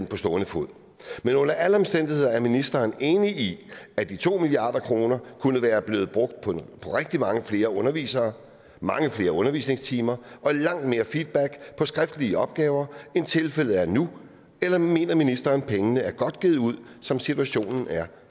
på stående fod men under alle omstændigheder er ministeren enig i at de to milliard kroner kunne være blevet brugt på rigtig mange flere undervisere mange flere undervisningstimer og langt mere feedback på skriftlige opgaver end tilfældet er nu eller mener ministeren at pengene er godt givet ud som situationen er